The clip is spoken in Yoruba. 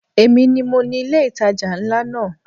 Èmi ni mo ni ilé ìtajà ńlá náà.